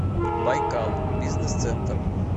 байкал бизнес центр